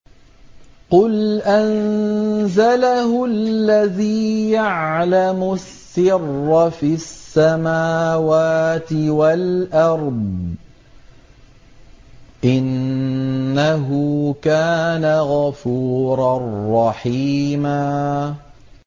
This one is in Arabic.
قُلْ أَنزَلَهُ الَّذِي يَعْلَمُ السِّرَّ فِي السَّمَاوَاتِ وَالْأَرْضِ ۚ إِنَّهُ كَانَ غَفُورًا رَّحِيمًا